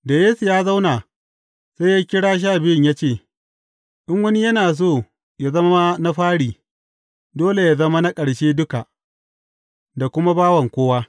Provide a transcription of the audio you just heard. Da Yesu ya zauna, sai ya kira Sha Biyun ya ce, In wani yana so yă zama na fari, dole yă zama na ƙarshe duka, da kuma bawan kowa.